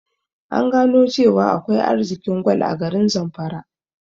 An gano cewa akwai arzikin gwal a garin zamfara